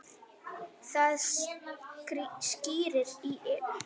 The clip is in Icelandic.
Það skríkir í Evu.